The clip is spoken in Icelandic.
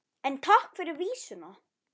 En takk fyrir vísuna!